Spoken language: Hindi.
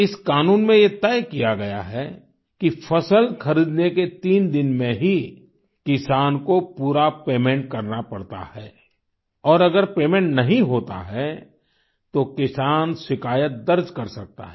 इस क़ानून में ये तय किया गया है कि फसल खरीदने के तीन दिन में ही किसान को पूरा पेमेन्ट करना पड़ता है और अगर पेमेन्ट नहीं होता है तो किसान शिकायत दर्ज कर सकता है